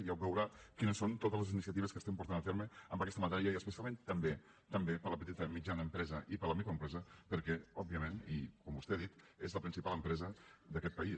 ja ho veurà quines són totes les iniciatives que estem portant a terme en aquesta matèria i especialment també també per a la petita i mitjana empresa i per a la microempresa perquè òbviament i com vostè ha dit és la principal empresa d’aquest país